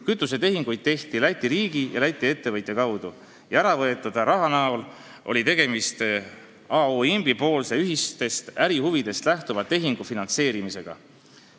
Kütusetehinguid tehti Läti riigi ja Läti ettevõtja kaudu ning äravõetud raha näol oli tegemist A.O. Imbi poolse ühistest ärihuvidest lähtuva tehingu finantseerimisega.